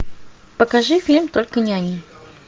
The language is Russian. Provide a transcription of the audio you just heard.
покажи фильм только не они